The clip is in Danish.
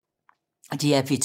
DR P2